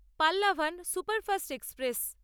Pallavan superfast express